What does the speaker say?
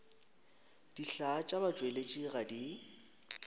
dihlaa tša batšweletši ga di